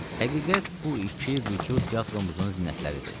Həqiqət bu iki vücud teatrumuzun zinətləridir.